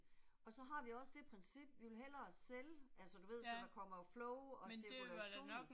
Og så har vi også det princip, vi vil hellere sælge, altså du ved så der kommer jo flow og cirkulation